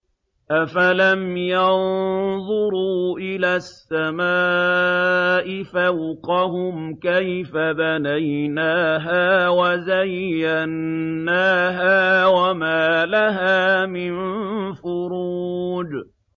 أَفَلَمْ يَنظُرُوا إِلَى السَّمَاءِ فَوْقَهُمْ كَيْفَ بَنَيْنَاهَا وَزَيَّنَّاهَا وَمَا لَهَا مِن فُرُوجٍ